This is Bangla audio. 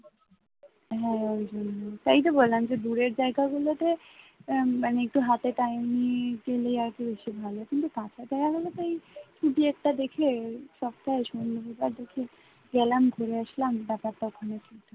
না ওই জন্যই তাইতো বললাম যে দূরের জায়গাগুলোতে আহ মানে একটু হাতে time নিয়ে গেলে আরেকটু বেশি ভালো কিন্তু কাছে যাওয়া হলেতো এই ছুটি একটা দেখে সপ্তাহে শনি রবিবার দেখে গেলাম ঘুরে আসলাম ব্যাপারটা ওখানে ঠিক থাকে